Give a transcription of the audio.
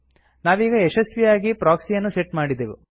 ನಾವೀಗ ಯಶಸ್ವಿಯಾಗಿ ಪ್ರೊಕ್ಸಿಯನ್ನು ಸೆಟ್ ಮಾಡಿದೆವು